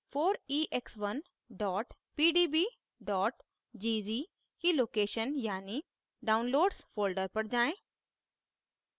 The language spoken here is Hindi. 4ex1 pdb gz की location यानि downloads folder पर जाएँ